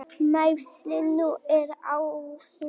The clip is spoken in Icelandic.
Meiðslin nú eru á hné.